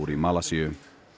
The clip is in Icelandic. í Malasíu